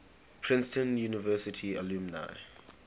princeton university alumni